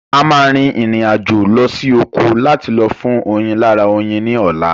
A máa rin ìrìn àjò lọ sí oko láti lọ fún oyin lára oyin ní ọ̀la